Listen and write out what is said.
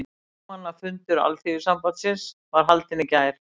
Formannafundur Alþýðusambandsins var haldinn í gær